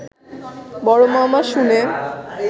বড় মামা শুনে